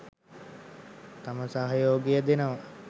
තම සහයෝගය දෙනවා.